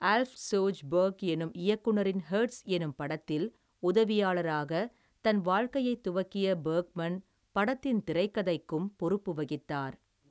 ஆல்ப் Sjoberg எனும் இயக்குனரின் Hets எனும் படத்தில் உதவியாளராகத் தன் வாழ்க்கையைத் துவக்கிய பெர்க்மன் படத்தின் திரைக்கதைக்கும் பொறுப்பு வகித்தார்.